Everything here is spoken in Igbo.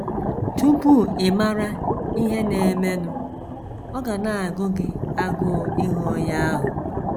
Tupu ị mara ihe na - emenụ, ọ ga na - agụ gị agụụ ịhụ onye ahụ.